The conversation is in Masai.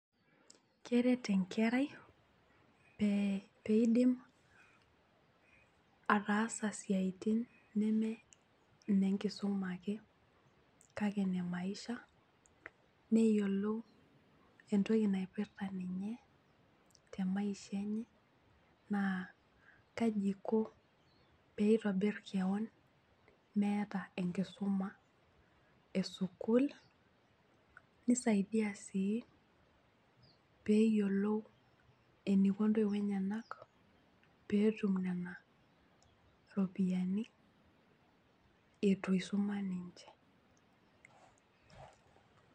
Keret enkerai pe peidim ataasa siatin neme inenkisuma ake ine maisha, neyilou entoki naipirta ninye temaisha enye naa kaji iko peitobir kewon meeta enkisuma esukuul, nisaidia sii peyiolou eniko ntoiwuo enyenak peetum nena ropiyiani itu isuma ninche.